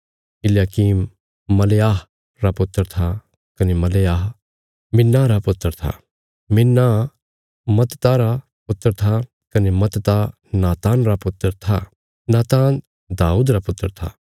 इल्याकीम मलेआह रा पुत्र था कने मलेआह मिन्नाह रा पुत्र था मिन्नाह मत्तता रा पुत्र था कने मत्तता नातान रा पुत्र था नातान दाऊद रा पुत्र था